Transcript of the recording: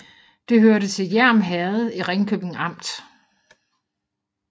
Det hørte til Hjerm Herred i Ringkøbing Amt